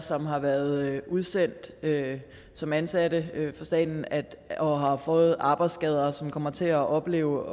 som har været udsendt som ansatte fra staten og har fået arbejdsskader og som kommer til at opleve